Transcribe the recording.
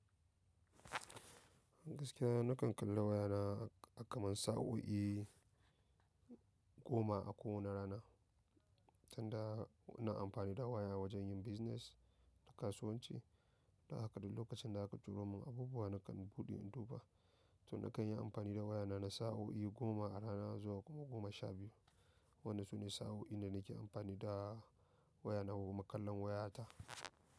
Gaskiya na kan kalla wayana akaman sa'o'i goma a ko wani rana, tunda na amfani da waya wajen yin business da kasuwanci. Dan haka duk lokacin da aka turo mun abubuwa nakan buɗe in duba. To na kan yi amfani da wayana na sa'o'i goma a rana zuwa kuma goma sha biyu. Wannan sune sa'o'i da nake amfani da wayana ko kuma kallon wayata.